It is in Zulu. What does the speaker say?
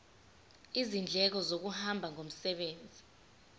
izindleko zokuhamba ngomsebenzi